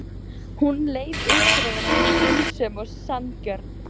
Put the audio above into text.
Hún leit út fyrir að vera skynsöm og sanngjörn.